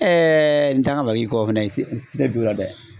n t'a ma bagaji kɔ fɛnɛ ne b'o la dɛ